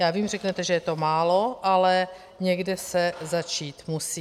Já vím, řeknete, že je to málo, ale někde se začít musí.